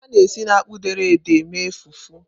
A na-esi na akpụ dere ede mee fufu.